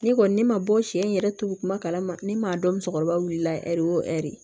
Ne kɔni ne ma bɔ sɛ in yɛrɛ tugu kuma ne m'a dɔn musokɔrɔba wilila ɛri o ɛri